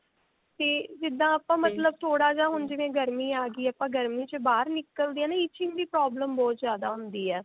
ਤੇ ਜਿੱਦਾਂ ਆਪਾਂ ਮਤਲਬ ਥੋੜਾ ਜਿਹਾ ਹੁਣ ਜਿਵੇਂ ਗਰਮੀ ਆ ਗਈ or ਗਰਮੀ ਚ ਬਾਹਰ ਨਿਕਲਦੇ ਹਾਂ ਨਾ itching ਦੀ problem ਬਹੁਤ ਜਿਆਦਾ ਹੁੰਦੀ ਹੈ